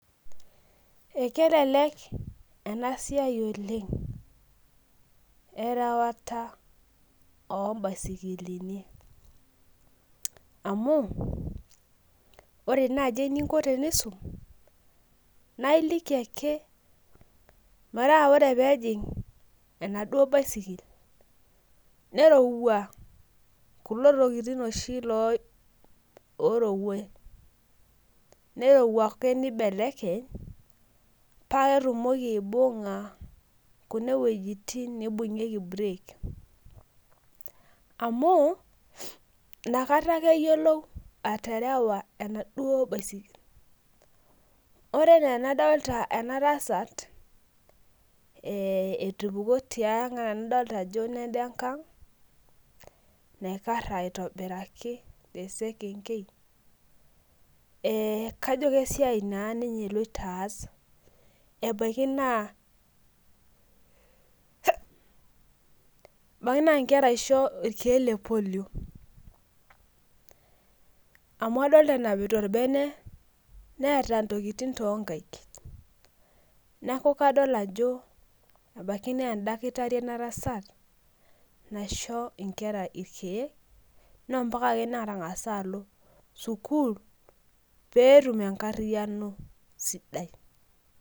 Ekelelek ena siai oleng erewata oo baisikili amu ore naaji eninko tenkisuma naa eliki ake metaa ore Ako pee ejig enaduoo baisikili nerorua kulo tokitin oshi ororuai nerorua ake nibelekeny paa ketumoki aibung'a kuneeuejitin naibung'ieki burek amu enakata ake eyiolou atarewa ena duo baisikili ore ena enadulitaa ena tasat ee etupukuo tiang adolita Ajo Nena engag naikara aitobiraki tee sekengei kajo esiai eloito aas ebaiki naa Nkera esho irkeek lee lepolio amu adolita nenapita orbene Neeta ntokitin too nkaik neeku kadol Ajo ebaiki naa edakitari ena tasat maishoo Nkera irkeek naa ombaka netang'asa alo sukuul peetum enkariano sidai